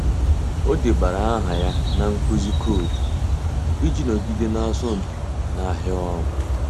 Ọ́ débara áhà ya na nkuzi koodu iji nọgide n’ásọ́mpi n’áhịa ọ́rụ́.